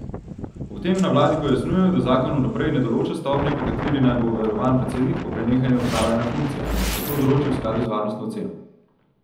Ob tem na vladi pojasnjujejo, da zakon vnaprej ne določa stopnje, po kateri naj bo varovan predsednik po prenehanju opravljanja funkcije, ampak se to določi v skladu z varnostno oceno.